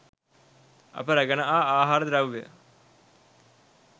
අප රැගෙන ආ ආහර ද්‍රව්‍ය